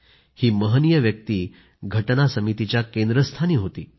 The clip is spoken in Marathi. ही महनीय व्यक्ती राज्यघटना समितीच्या केंद्रस्थानी होती